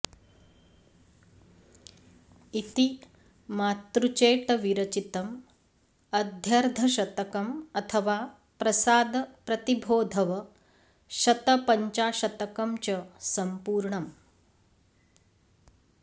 इति मातृचेटविरचितं अध्यर्धशतकं अथवा प्रसादप्रतिभोधव शतपञ्चाशतकं च सम्पूर्णम्